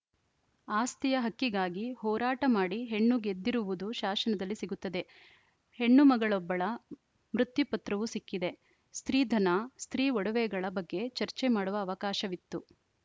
ಆಸ್ತಿಯ ಹಕ್ಕಿಗಾಗಿ ಹೋರಾಟ ಮಾಡಿ ಹೆಣ್ಣು ಗೆದ್ದಿರುವುದು ಶಾಶನದಲ್ಲಿ ಸಿಗುತ್ತದೆ ಹೆಣ್ಣುಮಗಳೊಬ್ಬಳ ಮೃತ್ಯುಪತ್ರವು ಸಿಕ್ಕಿದೆ ಸ್ತ್ರೀಧನ ಸ್ತ್ರೀ ಒಡವೆಗಳ ಬಗ್ಗೆ ಚರ್ಚೆ ಮಾಡುವ ಅವಕಾಶವಿತ್ತು